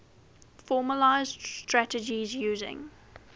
formalised strategies using